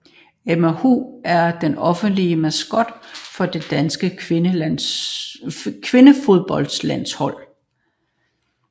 Emma Hu er den officielle maskot for det danske kvindefodboldlandshold